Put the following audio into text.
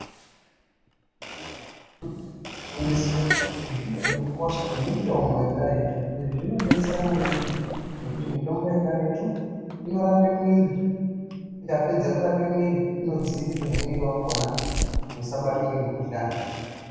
Kufundiswa ngekuda kwemitimbo yekaretu, kunodetsera maningi, ngekuti mitombo yekaretu ,inorape mwiiri ikapedza kurape mwiiri wakhona inodziirirazve mwiiri wakhona kuti usabatwa ngemikhuhlani .